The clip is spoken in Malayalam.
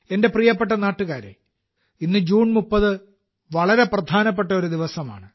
എന്റെ പ്രിയപ്പെട്ട നാട്ടുകാരേ ഇന്ന് ജൂൺ 30 വളരെ പ്രധാനപ്പെട്ട ഒരു ദിവസമാണ്